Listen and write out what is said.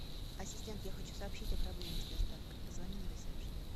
ассистент я хочу сообщить о проблеме с доставкой позвони на ресепшн